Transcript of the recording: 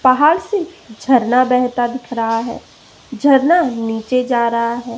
पहाड़ से झरना बेहतर दिख रहा है झरना नीचे जा रहा है।